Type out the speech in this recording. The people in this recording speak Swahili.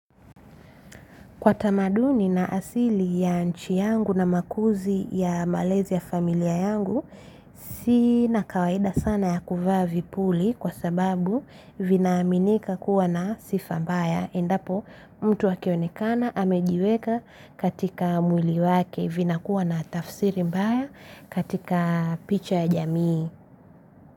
Kwa tamaduni na asili ya nchi yangu na makuzi ya malezi ya familia yangu, sina kawaida sana ya kuvavi puli kwa sababu vinaaminika kuwa na sifa mbaya. Endapo mtu akionekana amejiweka katika mwili wake vina kuwa na tafsiri mbaya katika picha ya jamii.